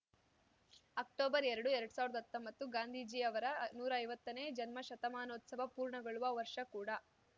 October ಎರಡು ಎರಡ್ ಸಾವಿರ್ದ್ ಹತ್ತೊಂಬತ್ತು ಗಾಂಧೀಜಿ ಅವರ ನೂರಾ ಐವತ್ತನೇ ಜನ್ಮಶತಮಾನೋತ್ಸವ ಪೂರ್ಣಗೊಳ್ಳುವ ವರ್ಷ ಕೂಡ